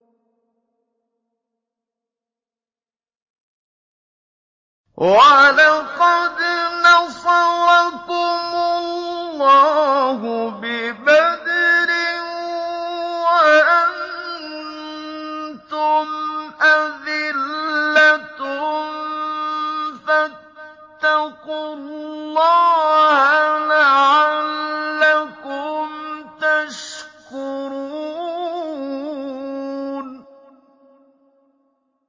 وَلَقَدْ نَصَرَكُمُ اللَّهُ بِبَدْرٍ وَأَنتُمْ أَذِلَّةٌ ۖ فَاتَّقُوا اللَّهَ لَعَلَّكُمْ تَشْكُرُونَ